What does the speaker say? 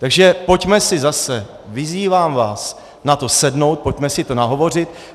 Takže pojďme si zase, vyzývám vás, na to sednout, pojďme si to nahovořit.